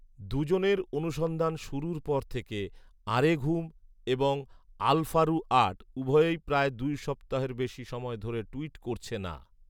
দু’জনের অনুসন্ধান শুরুর পর থেকে ‘আরেঘুম’ এবং ‘আলফারু আট’ উভয়েই প্রায় দুই সপ্তাহের বেশি সময় ধরে টুইট করছে না